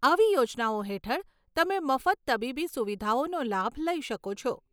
આવી યોજનાઓ હેઠળ તમે મફત તબીબી સુવિધાઓનો લાભ લઈ શકો છો.